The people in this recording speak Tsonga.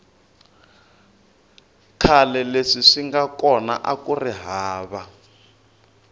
khale leswi swinga kona akuri hava